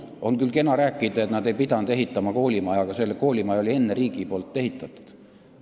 On küll kena rääkida, et nad ei pidanud ehitama koolimaja, aga selle koolimaja oli riik enne juba ehitanud.